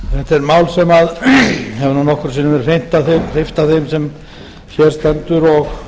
er mál sem nokkrum sinnum hefur verið hreyft af þeim sem hér stendur og